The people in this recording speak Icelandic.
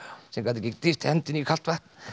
sem gat ekki dýft hendinni í kalt vatn